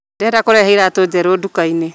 Ndĩrenda kũrehe iratũnjeru ndukainĩ